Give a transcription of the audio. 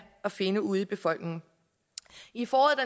at finde ude i befolkningen i foråret